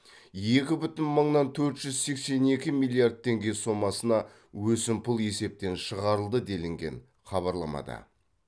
екі бүтін мыңнан төрт жүз сексен екі миллиард теңге сомасына өсімпұл есептен шығарылды делінген хабарламада